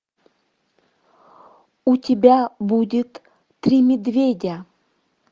у тебя будет три медведя